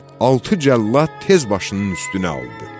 Altı cəllad tez başının üstünə aldı.